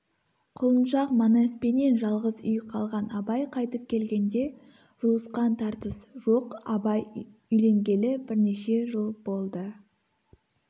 құлыншақ манаспенен жалғыз үй қалған абай қайтып келгенде жұлысқан тартыс жоқ абай үйленгелі бірнеше жыл болды